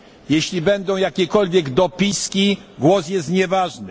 Jeśli będą jakiekolwiek dopiski, głos jest nieważny.